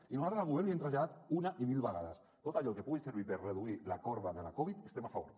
i nosaltres al govern li hem traslladat una i mil vegades tot allò que pugui servir per reduir la corba de la covid hi estem a favor